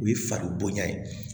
O y'i fari bonya ye